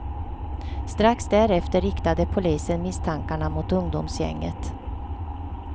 Strax därefter riktade polisen misstankarna mot ungdomsgänget.